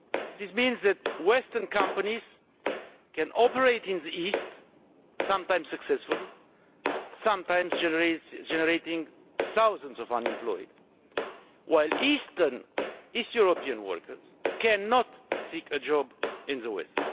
This means that western companies can operate in the east, sometimes successfully, sometimes generating thousands of unemployed, while east European workers cannot seek a job in the west.